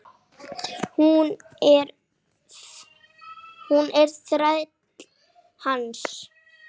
Hún er þræll hans.